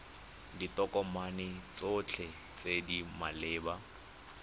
ditokomane tsotlhe tse di maleba